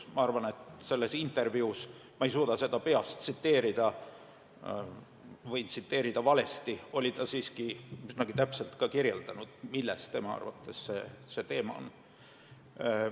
Ma arvan, et selles intervjuus – ma ei hakka peast tsiteerima, sest võin tsiteerida valesti – ta siiski üsnagi täpselt kirjeldas, milles tema arvates see küsimus on.